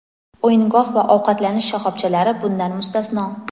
O‘yingoh va ovqatlanish shoxobchalari bundan mustasno.